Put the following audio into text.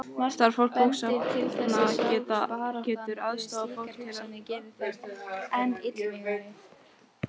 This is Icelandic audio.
Starfsfólk bókasafna getur aðstoðað fólk við að læra að leita í rafrænum gagnagrunnum.